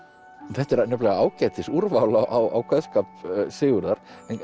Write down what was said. þetta er nefnilega ágætis úrval á kveðskap Sigurðar